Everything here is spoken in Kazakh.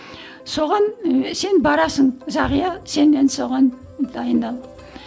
соған сен барасың зағия сен енді соған дайындал